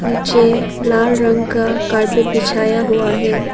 पीछे लाल रंग का कारपेट बिछाया हुआ है।